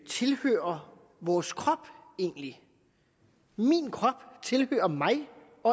tilhører vores krop egentlig min krop tilhører mig